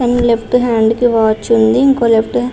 తన left hand కి watch ఉంది. ఇంకో లెఫ్ట్ హ్యాండ్ --